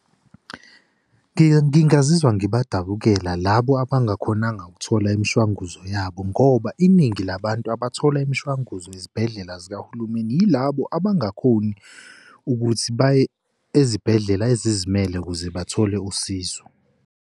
Ngingazizwa ngibadabukela labo abangakhonanga ukuthola imishwanguzo yabo, ngoba iningi labantu abathola imishwanguzo ezibhedlela zikahulumeni yilabo abangakhoni ukuthi baye ezibhedlela ezizimele ukuze bathole usizo.